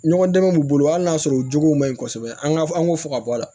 Ɲɔgɔn dɛmɛ b'u bolo hali n'a sɔrɔ u jogow ma ɲi kosɛbɛ an ka an k'u fɔ ka bɔ a la